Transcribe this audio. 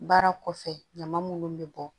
Baara kɔfɛ ɲama munnu bɛ bɔ